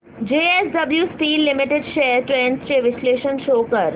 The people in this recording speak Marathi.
JSW steel limited shares trends चे विश्लेषण शो कर